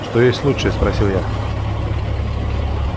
что есть лучшее спросил я